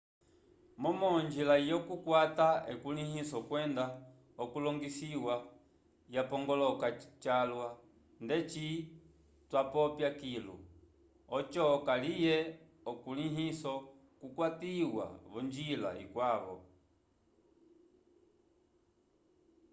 momo onjila yokukwata ukulĩhiso kwenda okulongisiwa yapongoloka calwa ndeci twapopya kilu oco kaliye ukulĩhiso ukwatiwa v'onjila ikwavo